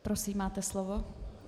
Prosím, máte slovo.